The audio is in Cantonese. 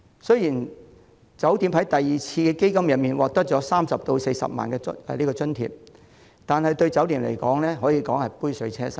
雖然每間酒店在第二輪基金中獲得30萬元或40萬元津貼，但對酒店業而言可說是杯水車薪。